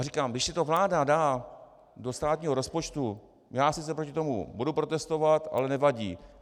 A říkám, když si to vláda dá do státního rozpočtu, já sice proti tomu budu protestovat, ale nevadí.